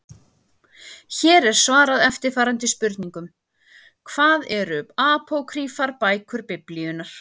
Hér er svarað eftirfarandi spurningum: Hvað eru apókrýfar bækur Biblíunnar?